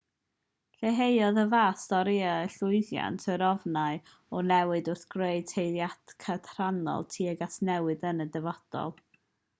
lleihaodd y fath storïau llwyddiant yr ofnau o newid wrth greu tueddiad cadarnhaol tuag at newid yn y dyfodol